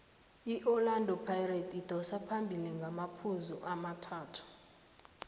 iorlando pirates idosa phambili ngamaphuzu amathathu